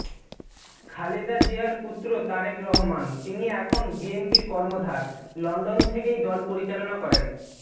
খালেদা জিয়ার পুত্র তারেক রহমান তিনি এখন বিএনপির কর্ণধার লন্ডন থেকেই দল পরিচালনা করেন